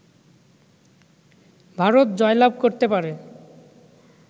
ভারত জয়লাভ করতে পারে